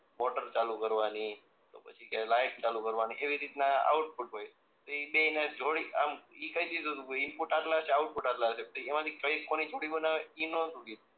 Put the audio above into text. motor ચાલુ કરવાની તો પછી કે લાઈટ ચાલુ કરવાની એવી રીતના આઉટપુટ હોય એ બેઈને જોડે આમ ઈ કહી દીધું તું ઈનપુટ આટલા હશે આઉટ્પુટ આટલા હશે એ કઈ કોની ચાવી બનાવે એ ના કે